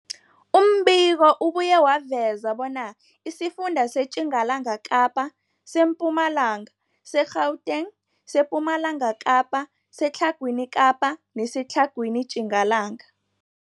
Umbiko ubuye waveza bona isifunda seTjingalanga Kapa, seMpumalanga, seGauteng, sePumalanga Kapa, seTlhagwini Kapa neseTlhagwini Tjingalanga.